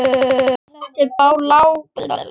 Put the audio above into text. Þetta er bláköld alvara.